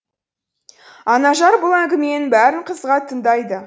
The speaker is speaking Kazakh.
анажар бұл әңгіменің бәрін қызыға тыңдайды